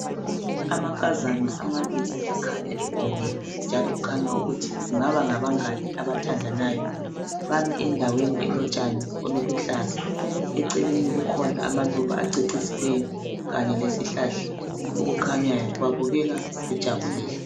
Amankazana amababili abakhanya begonene, njalo kukhanya ukuthi kungaba ngabangane abathandanayo. Bami endaweni elotshane obuluhlaza. Eceleni kukhona amaluba acecisileyo kanye lesihlahla esikhanyayo, babukeka bejabulile.